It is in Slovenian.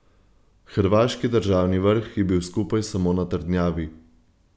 Hrvaški državni vrh je bil skupaj samo na trdnjavi.